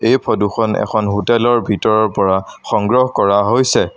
এই ফদু খন এখন হোটেল ৰ ভিতৰৰ পৰা সংগ্ৰহ কৰা হৈছে।